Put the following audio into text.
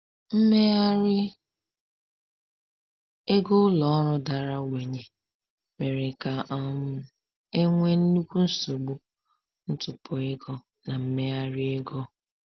Mmegharị ego ụlọ ọrụ dara ogbenye mere ka um e nwee nnukwu nsogbu ntụpọ ego na mmegharị ego.